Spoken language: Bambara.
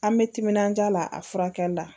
An bɛ timinaja la a furakɛli la